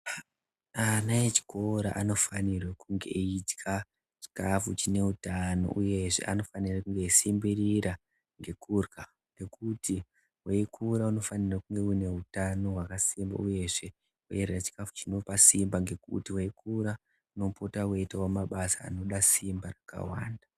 Ana echikora anofanirwe kunge eidya chikafu chineutano uyezve anofanire kunge eisimbirira ngekurya, nekuti weikura unofanirwa kunge unehutano hwakasimba. Uyezve weirya chikafu chinopa simba ngekuti weikura unopota weiitawo mabasa anoda simba rakawanda.